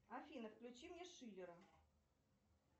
афина включи мне шиллера